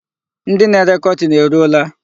Ndị na-ere kọtin eruola?